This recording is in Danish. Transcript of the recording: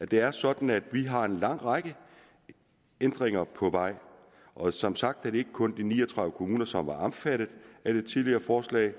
det er sådan at vi har en lang række ændringer på vej og som sagt er det kun de ni og tredive kommuner som var omfattet af det tidligere forslag